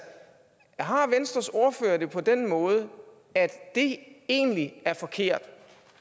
har venstres ordfører det på den måde at det egentlig er forkert